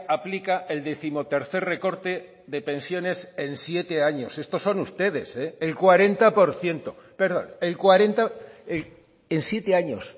aplica el décimotercer recorte de pensiones en siete años estos son ustedes el cuarenta por ciento perdón el cuarenta en siete años